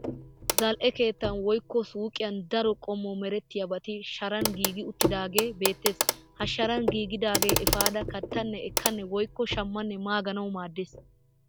Zal'e keettan woykko suuqiyan daro qommo meetettiyaabati Sharan giigi uttidaagee beettes. Ha Sharan giigidaagee efada kattenna ekkanne woykko shammanne maanagawu maaddes.